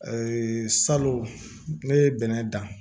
Ee salon ne ye bɛnɛ dan